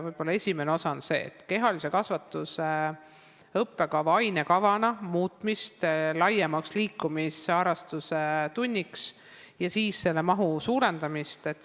Võib-olla esimene osa on siin see, et kehalise kasvatuse õppekava muuta ainekavana laiemaks, nii et kehalise kasvatuse tund muutuks liikumisharrastuse tunniks, ja nende tundide mahtu suurendada.